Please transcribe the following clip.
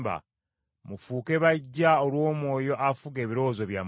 Mufuuke baggya olw’Omwoyo afuga ebirowoozo byammwe,